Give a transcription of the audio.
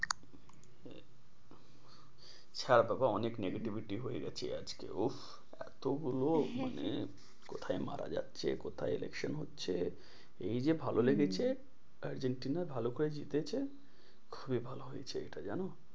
ছার বাবা অনেক negativety হয়ে যাচ্ছে আজকে উহ এতো গুলো হ্যাঁ মানে হ্যাঁ কোথায় মারা যাচ্ছে কোথায় election হচ্ছে এই যে ভালো লেগেছে আর্জেন্টিনা ভালো করে জিতেছে খুবই ভালো হয়েছে, এইটা জানো?